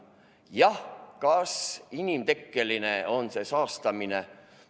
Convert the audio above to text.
Jah, kas on inimtekkeline see saastamine?